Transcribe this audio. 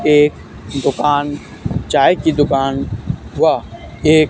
एक दुकान चाय की दुकान व एक--